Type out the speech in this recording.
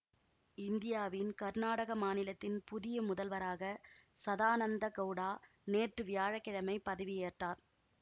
இந்தியாவின் கர்நாடக மாநிலத்தின் புதிய முதல்வராக சதானந்த கவுடா நேற்று வியாழ கிழமை பதவியேற்றார்